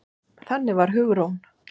Þannig var Hugrún.